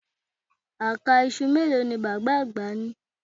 Àká iṣu mélòó ni bàbá àgbà ni